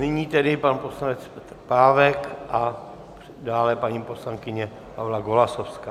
Nyní tedy pan poslanec Petr Pávek a dále paní poslankyně Pavla Golasowská.